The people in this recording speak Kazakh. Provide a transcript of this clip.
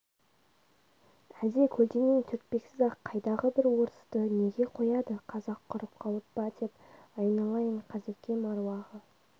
әлде көлденең түртпексіз-ақ қайдағы бір орысты неге қояды қазақ құрып қалып па деп айналайын қазекем аруағы